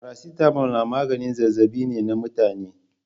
Faracitamol na maganin zazzaɓi ne na mutane.